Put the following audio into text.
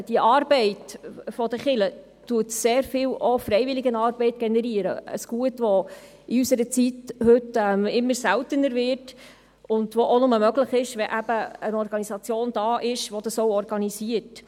Die Arbeit der Kirche generiert auch sehr viel Freiwilligenarbeit, ein Gut, welches in der heutigen Zeit immer seltener wird und nur möglich ist, wenn eine Organisation da ist, die dies koordiniert.